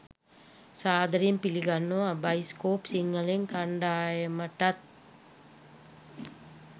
සාදරයෙන් පිළිගන්නවා බයිස්කෝප් සිංහලෙන් කණ්ඩායමටත්.